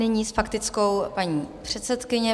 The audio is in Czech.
Nyní s faktickou paní předsedkyně.